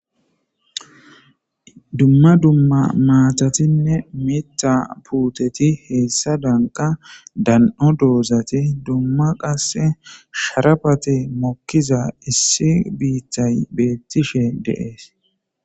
dumma dumma maatatinne mita puuteti heessa danqa dan7o doozati dumma qasse sharafati mokkiza issi biittay beettishe deees